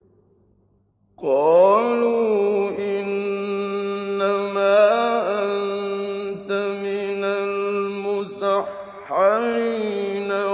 قَالُوا إِنَّمَا أَنتَ مِنَ الْمُسَحَّرِينَ